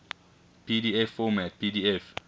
pdf format pdf